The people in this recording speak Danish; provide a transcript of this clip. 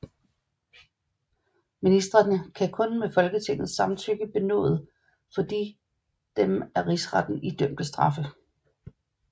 Ministrene kan kun med Folketingets samtykke benåde for de dem af rigsretten idømte straffe